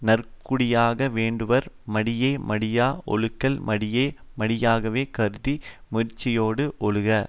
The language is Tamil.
நற்குடியாக வேண்டுவார் மடியை மடியா ஒழுகல் மடியை மடியாகவே கருதி முயற்சியோடு ஒழுகுக